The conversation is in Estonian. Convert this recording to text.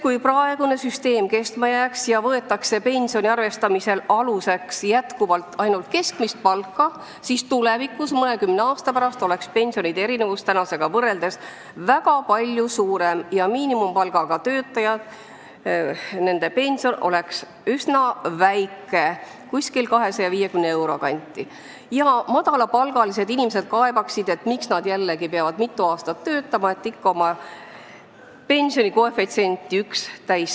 Kui praegune süsteem kestma jääks ja pensioni arvestamisel võetaks jätkuvalt aluseks ainult keskmist palka, siis tulevikus, mõnekümne aasta pärast oleks pensionide erinevus tänase erinevusega võrreldes palju suurem ja miinimumpalgaga töötajate pension oleks üsna väike, 250 euro kanti, ning madalapalgalised inimesed kaebaksid, miks nad jällegi peavad mitu aastat töötama, et täis saada koefitsienti 1.